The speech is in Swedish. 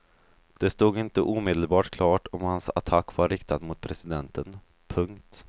Det stod inte omedelbart klart om hans attack var riktad mot presidenten. punkt